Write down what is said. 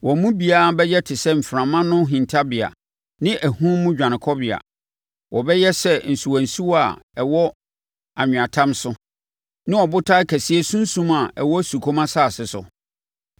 Wɔn mu biara bɛyɛ te sɛ mframa ano hintabea ne ahum mu dwanekɔbea, wɔbɛyɛ sɛ nsuwansuwa a ɛwɔ anweatam so ne ɔbotan kɛseɛ sunsum a ɛwɔ osukɔm asase so.